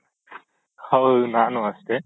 ಹೌದು ನಾನು ಅಷ್ಟೆ